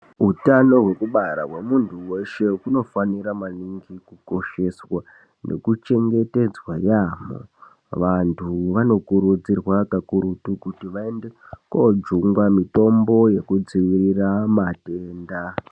Hutano hwekubara hwemuntu weshe unofanira maningi kukosheswa nekuchengetedzwa yambo vantu vanokurudzirwa kakurutu kuti vaende kojungwa mitombo yekudzivirira matenda.